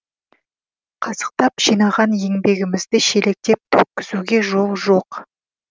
қасықтап жинаған еңбегімізді шелектеп төккізуге жол жоқ